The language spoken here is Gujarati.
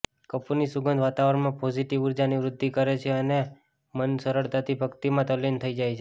કપૂરની સુગંધ વાતાવરણમાં પોઝિટિવ ઉર્જાની વૃદ્ધિકરે છે અને મન સરળતાથી ભક્તિમાં તલ્લીન થઈ જાય છે